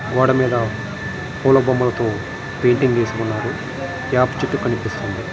గోడ మేధా పుల బొమ్మలతో పెయింటింగ్ వేసి ఉన్నారు. వేప చేటు కనిపిస్తుంది.